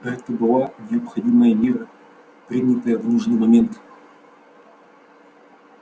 это была необходимая мера принятая в нужный момент